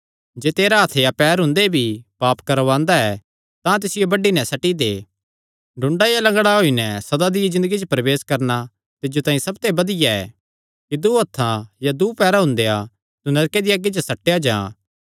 जे तेरा हत्थ या पैर हुंदे भी पाप करवांदा ऐ तां तिसियो बड्डी नैं सट्टी दे डुंडा या लंगड़ा होई नैं सदा दिया ज़िन्दगिया च प्रवेश करणा तिज्जो तांई इसते बधिया ऐ कि दूँ हत्थां या दूँ पैरां हुंदेया तू नरके दिया अग्गी च सट्टेया जां